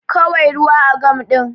Kawai ruwa a gam din